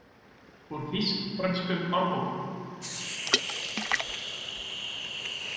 Úr Þýsk-frönskum árbókum.